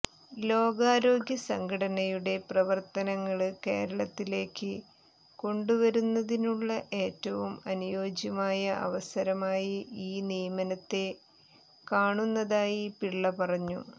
ലോകാരോഗ്യ സംഘടനയുടെ പ്രവര്ത്തനങ്ങള് കേരളത്തിലേക്ക് കൊണ്ടുവരുന്നതിനുള്ള ഏറ്റവും അനുയോജ്യമായ അവസരമായി ഈ നിയമനത്തെ കാണുന്നതായി പിള്ള പറഞ്ഞു